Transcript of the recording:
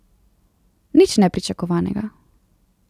Nič nepričakovanega.